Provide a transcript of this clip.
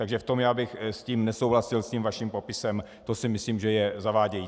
Takže v tom já bych s tím nesouhlasil, s tím vaším popisem, to si myslím, že je zavádějící.